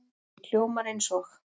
Hljómar eins og